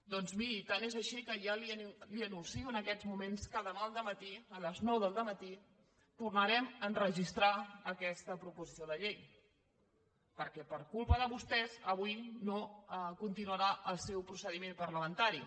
doncs miri tant és així que ja li anuncio en aquests moments que demà al dematí a les nou del dematí tornarem a registrar aquesta proposició de llei perquè per culpa de vostès avui no continuarà el seu procediment parlamentari